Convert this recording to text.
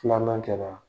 Filanan kɛra